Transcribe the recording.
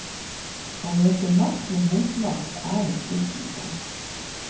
Å møte makt med motmakt er en fristelse.